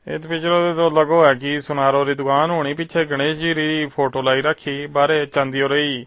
ਇਹ ਵਿਜੋ ਲਗੋ ਹੈ ਕਿ ਸੁਨਾਰੋ ਕੀ ਦੁਕਾਨ ਹੋਣੀ ਪਿੱਛੇ ਗਣੇਸ਼ ਜੀ ਦੀ ਫੋਟੋ ਲਾਈ ਰਾਖੀ ਬਾਹਰੇ ਚਾਂਦੀ ਉਰੀ --